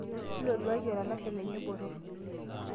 intoduaki olalashe lenye botorr